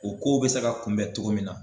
O kow bɛ se ka kunbɛn cogo min na